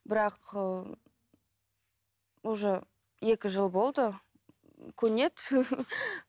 бірақ ыыы уже екі жыл болды көнеді